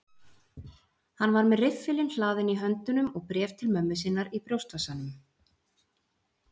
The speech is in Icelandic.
Hann var með riffilinn hlaðinn í höndunum og bréf til mömmu sinnar í brjóstvasanum.